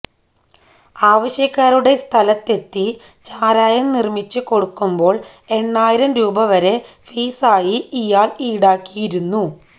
ആവശ്യകാരുടെ സ്ഥലത്ത് എത്തി ചാരായം നിര്മിച്ച് കൊടുക്കുമ്പോള് എണ്ണായിരം രൂപ വരെ ഫീസായി ഇയാള് ഈടാക്കിയുന്നു